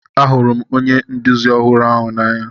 Ahụrụ m onye nduzi ọhụrụ ahu n'anya.